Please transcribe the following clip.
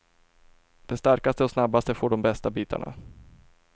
De starkaste och snabbaste får de bästa bitarna.